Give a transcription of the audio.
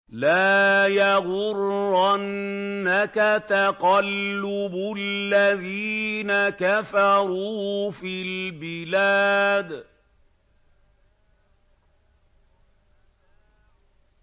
لَا يَغُرَّنَّكَ تَقَلُّبُ الَّذِينَ كَفَرُوا فِي الْبِلَادِ